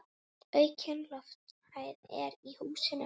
Aukin lofthæð er í húsinu.